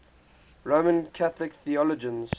roman catholic theologians